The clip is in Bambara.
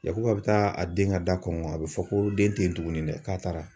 Yakuba bɛ taa a den ka da kɔngɔ, a bɛ fɔ ko den tɛ yen tuguni dɛ, k'a taara.